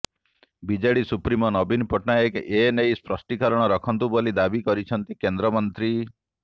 BJD supremo ନବୀନ ପଟ୍ଟନାୟକ ଏନେଇ ସ୍ପଷ୍ଟିକରଣ ରଖନ୍ତୁ ବୋଲି ଦାବି କରିଛନ୍ତି କେନ୍ଦ୍ରମନ୍ତ୍ରୀ